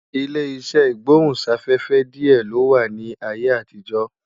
Ilé iṣẹ́ ìgbóhún-sáfẹ́fẹ́ díẹ̀ ló wà ní ayé àtijọ́